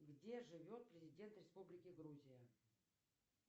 где живет президент республики грузия